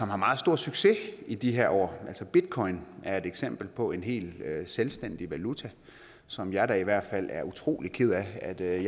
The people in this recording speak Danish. har meget stor succes i de her år altså bitcoin er et eksempel på en helt selvstændig valuta som jeg da i hvert fald er utrolig ked af at jeg